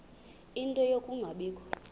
ie nto yokungabikho